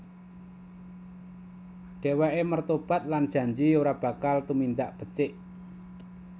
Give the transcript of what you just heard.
Dheweke mertobat lan janji ora bakal tumindak becik